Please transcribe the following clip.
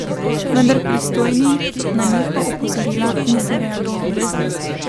Vendar pristojni na njihova opozorila niso reagirali.